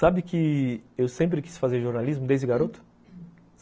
Sabe que eu sempre quis fazer jornalismo desde garoto?